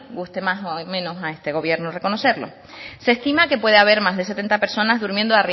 guste más o de menos a este gobierno reconocerlo se estima que puede haber más de setenta personas durmiendo